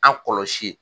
An kɔlɔsi